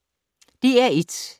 DR1